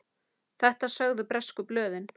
Þetta sögðu bresku blöðin.